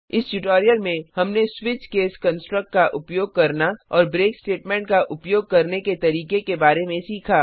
इस ट्यूटोरियल में हमने स्विच केस कंस्ट्रक्ट का उपयोग करना और ब्रेक स्टेटमेंट का उपयोग करने के तरीके के बारे में सीखा